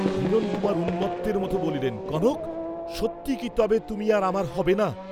হিরণকুমার উন্মত্তের মত বলিলেন, "কনক, সত্যিই কি তবে তুমি আর আমার হবে না?"